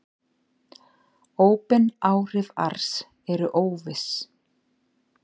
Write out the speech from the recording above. Óbein áhrif ars eru óviss.